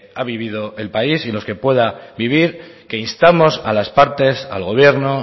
ha vivido el país y los que pueda vivir que instamos a las partes al gobierno